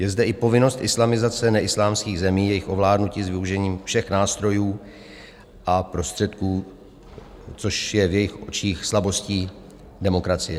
Je zde i povinnost islamizace neislámských zemí, jejich ovládnutí s využitím všech nástrojů a prostředků, což je v jejich očích slabostí demokracie.